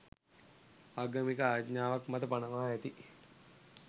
ආගමික ආඥාවක් මත පනවා ඇති